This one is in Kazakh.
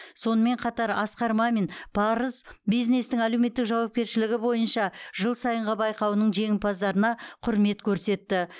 сонымен қатар асқар мамин парыз бизнестің әлеуметтік жауапкершілігі бойынша жыл сайынғы байқауының жеңімпаздарына құрмет көрсетті